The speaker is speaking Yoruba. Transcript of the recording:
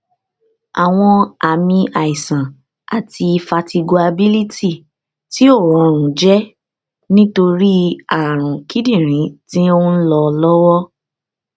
awọn aami aisan ti fatiguability ti o rọrun jẹ nitori arun kidinrin ti nlọ lọwọ